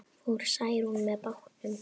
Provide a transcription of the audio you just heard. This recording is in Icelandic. Fór Særún með bátnum.